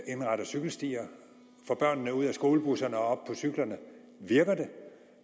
indretter cykelstier og får børnene ud af skolebusserne og op cyklerne virker det